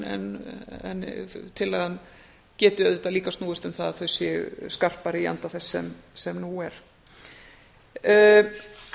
sveigjanleg en tillagan geti auðvitað líka snúist um það að þau séu skarpari í anda þess sem nú er